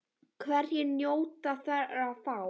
Hverjir njóta þeirra þá?